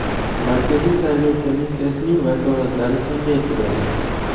Markaziy saylov komissiyasining vakolatlari kengaytirildi.